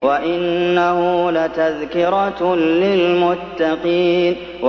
وَإِنَّهُ لَتَذْكِرَةٌ لِّلْمُتَّقِينَ